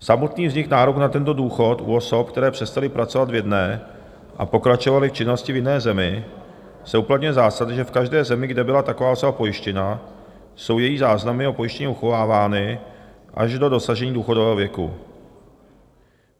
Samotný vznik nároku na tento důchod u osob, které přestaly pracovat v jedné a pokračovaly v činnosti v jiné zemi, se uplatňuje zásada, že v každé zemi, kde byla taková osoba pojištěna, jsou její záznamy o pojištění uchovávány až do dosažení důchodového věku.